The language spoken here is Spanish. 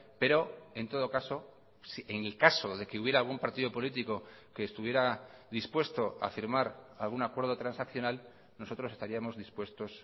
pero en todo caso en el caso de que hubiera algún partido político que estuviera dispuesto a firmar algún acuerdo transaccional nosotros estaríamos dispuestos